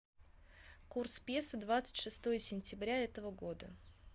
курс песо двадцать шестое сентября этого года